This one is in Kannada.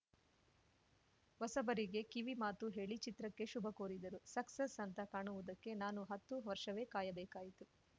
ಹೊಸಬರಿಗೆ ಕಿವಿಮಾತು ಹೇಳಿ ಚಿತ್ರಕ್ಕೆ ಶುಭ ಕೋರಿದರು ಸಕ್ಸಸ್‌ ಅಂತ ಕಾಣುವುದಕ್ಕೆ ನಾನು ಹತ್ತು ವರ್ಷವೇ ಕಾಯಬೇಕಾಯಿತು